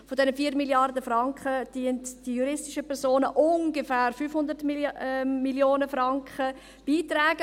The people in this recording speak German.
Von diesen 4 Mrd. Franken tragen die juristischen Personen ungefähr 500 Mio. Franken bei.